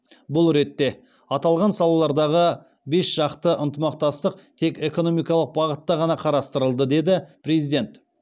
бұл ретте аталған салалардағы бесжақты ынтымақтастық тек экономикалық бағытта ғана қарастырылды деді президент